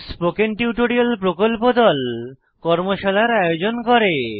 spoken tutorial প্রকল্প দল কর্মশালার আয়োজন করে